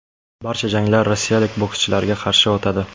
Barcha janglar rossiyalik bokschilarga qarshi o‘tadi.